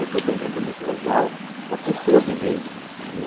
Esse depoimento é muito legal para as pessoas viverem isso, viu?